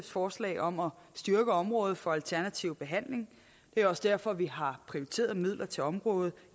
forslag om at styrke området for alternativ behandling det er også derfor vi har prioriteret midler til området